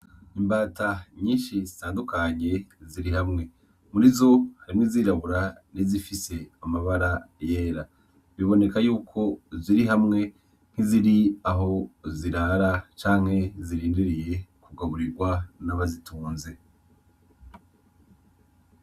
Imbata nyinshi zitandukanye ziri hamwe. Murizo harimwo izirabura , n’izifise amabara yera. Biboneka yuko ziri hamwe nk’iziri aho zirara canke zirindiriye kugaburirwa n’abazitunze.